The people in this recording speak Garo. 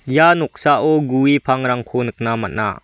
ia noksao gue pangrangko nikna man·a.